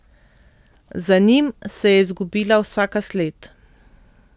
Za njim se je izgubila vsaka sled.